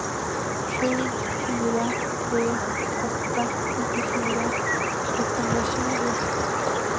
sju fyra tre åtta nittiofyra etthundratjugo